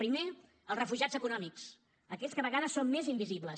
primer els refugiats econòmics aquells que a vegades són més invisibles